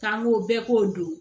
K'an ko bɛɛ k'o don